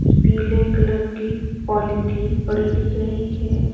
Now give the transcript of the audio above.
पीले कलर की पॉलिथीन पड़ी दिख रही है।